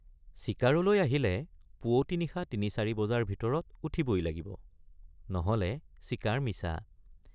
চিকাৰলৈ আহিলে পুৱতি নিশা তিনিচাৰি বজাৰ ভিতৰত উঠিবই লাগিব নহলে চিকাৰ মিছা।